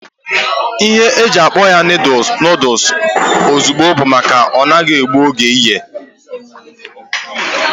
Ihe e ji akpọ ya noodules ozugbo bụ maka na ọ naghị egbu oge ịye